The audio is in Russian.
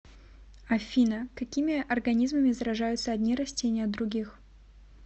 афина какими организмами заражаются одни растения от других